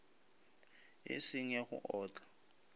e seng ya go otla